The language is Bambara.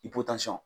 I